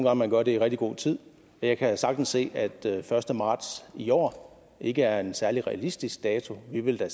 at man gør det i rigtig god tid jeg kan sagtens se at den første marts i år ikke er en særlig realistisk dato vi vil da